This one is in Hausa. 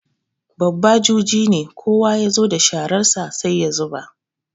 Babba juji ne, kowa ya zo da shararsa sai ya zuba.